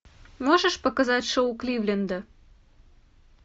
можешь показать шоу кливленда